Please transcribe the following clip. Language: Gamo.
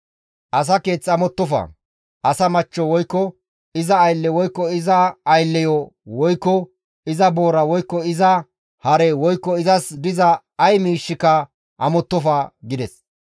«Asa keeth amottofa; asa machcho woykko iza aylle woykko iza aylleyo woykko iza boora woykko iza hare woykko izas diza ay miishshika amottofa» gides.